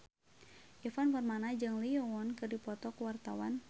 Ivan Permana jeung Lee Yo Won keur dipoto ku wartawan